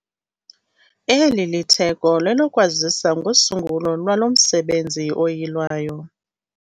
Eli litheko lelokwazisa ngosungulo lwalo msebenzi oyilwayo.